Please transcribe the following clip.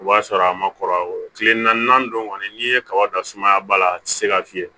O b'a sɔrɔ a ma kɔrɔ tile naani don kɔni n'i ye kaba dan sumaya ba la a tɛ se ka fiyɛ